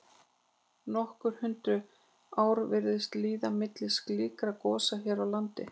Nokkur hundruð ár virðast líða milli slíkra gosa hér á landi.